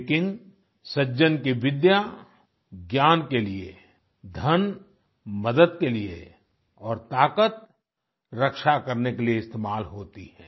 लेकिन सज्जन की विद्या ज्ञान के लिए धन मदद के लिए और ताकत रक्षा करने के लिए इस्तेमाल होती है